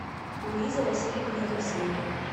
луиза васильевна евсеева